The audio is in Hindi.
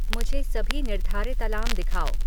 मुझे सभी निर्धारित अलार्म दिखाओ